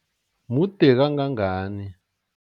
Mude kangangani?